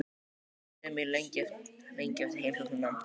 Ég var miður mín lengi eftir heimsóknina.